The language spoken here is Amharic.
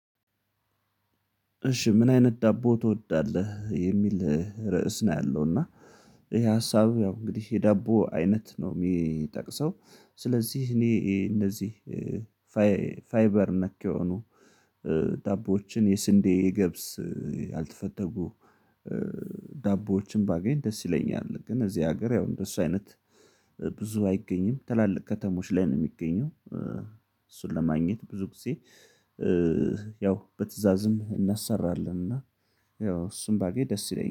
እሺ ምን አይነት ዳቦ ትወዳለህ? የሚል ርዕስ ነው ያለው እና ይሄ ሀሳብ ያው እንግዲህ የዳቦ አይነት ነው የሚጠቅሰው። ስለዚህ እኔ እንደዚህ ፋይበር ነክ የሆኑ ዳቦዎችን የስንዴ የገብስ ያልተፈተጉ ዳቦዎችን ባገኝ ደስ ይለኛል። ግን እዚህ ሀገር ያው እንደሱ አይነት ብዙ አይገኝም። ትላልቅ ከተሞች ላይ ነው የሚገኘው እሱን ለማግኘት ብዙ ጊዜ ያው በትእዛዝም እናሰራለን። እና ያው እሱን ባገኝ ደስ ይለኛል